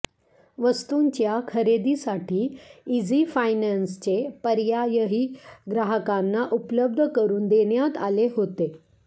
वस्तूंच्या खरेदीसाठी इझी फायनान्सचे पर्यायही ग्राहकांना उपलब्ध करून देण्यात आले होते